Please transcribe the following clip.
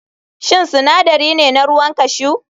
Shin sinadari ne na ruwan cashew?